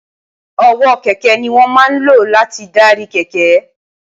ọwọ́ kẹ̀kẹ́ ni wọ́n máa ń lò láti darí kẹ̀kẹ́